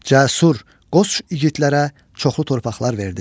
Cəsur, qoç igidlərə çoxlu torpaqlar verdi.